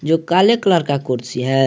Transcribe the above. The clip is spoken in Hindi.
जो काले कलर का कुर्सी है।